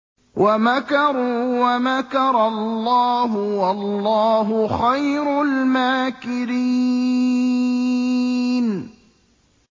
وَمَكَرُوا وَمَكَرَ اللَّهُ ۖ وَاللَّهُ خَيْرُ الْمَاكِرِينَ